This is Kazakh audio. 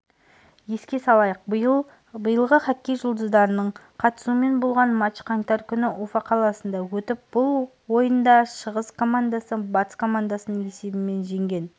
еске салайық биылғы хоккей жұлдыздарының қатысуымен болған матч қаңтар күні уфа қаласында өтіп бұл ойында шығыс командасы батыс командасын есебімен жеңген